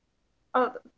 að